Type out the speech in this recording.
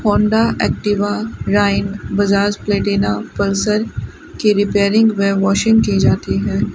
Honda Activa राइन Bajaj Platina Pulsar की repairing व वॉशिंग की जाती है।